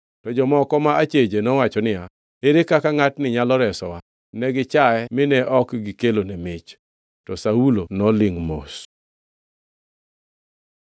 To jomoko ma acheje nowacho niya, “Ere kaka ngʼatni nyalo resowa?” Negi chaye mine ok gikelone mich. To Saulo nolingʼ mos.